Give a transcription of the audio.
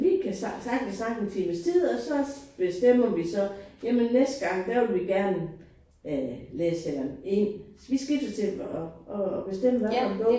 Vi kan sagtens snakke en times tid og så bestemmer vi så jamen næste gang der vil vi gerne øh læse eller E vi skiftes til at bestemme hvad for en bog